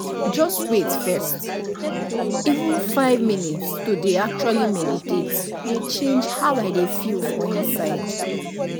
just wait first — even five minutes to dey actually meditate dey change how i dey feel for inside